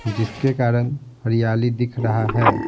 जिसके कारण हरियाली दिख रहा है.